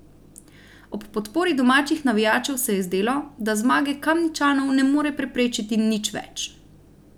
Ob podpori domačih navijačev se je zdelo, da zmage Kamničanov ne more preprečiti nič več.